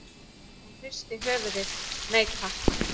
Hún hristi höfuðið, nei takk.